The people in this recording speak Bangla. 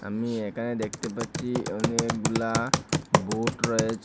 আমি এখানে দেখতে পাচ্চি অনেকগুলা বোট রয়েচে।